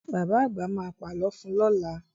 Bàbá àgbà ma pà lọ fun lọ́la